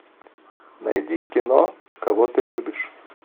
найди кино кого ты любишь